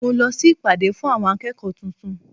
Mo lọ sí ìpàdé fún àwọn akẹ́kọ̀ọ́ tuntun.